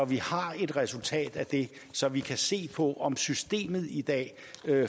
vi har et resultat af det så vi kan se på om systemet i dag